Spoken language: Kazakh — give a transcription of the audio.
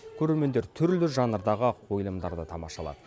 көрермендер түрлі жанрдағы қойылымдарды тамашалады